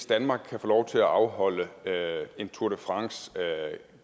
danmark kunne få lov til at afholde en tour de france